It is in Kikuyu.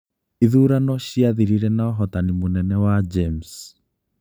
Ithurano ciathirire na ũhootani mũnene wa James.